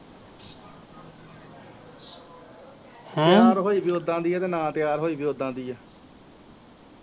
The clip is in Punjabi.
ਤੇਆਰ ਹੋਈ ਵੀ ਓਦਾਂ ਦੀ ਆ ਤੇ ਨਾ ਤੇਆਰ ਹੋਈ ਵੀ